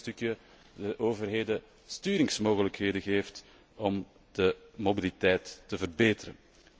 Op die manier krijgen de overheden sturingsmogelijkheden om de mobiliteit te verbeteren.